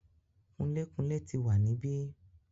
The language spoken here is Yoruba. Kunlé-kunlé ti wà níbí.